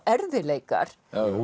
erfiðleikar